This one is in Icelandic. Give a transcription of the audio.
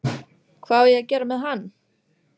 Hvað á ég að gera með hann?